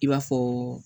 I b'a fɔ